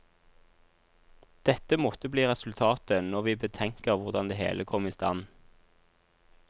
Dette måtte bli resultatet når vi betenker hvordan det hele kom i stand.